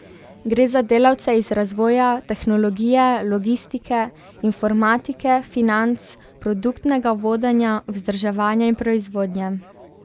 Gre za delavce iz razvoja, tehnologije, logistike, informatike, financ, produktnega vodenja, vzdrževanja in proizvodnje.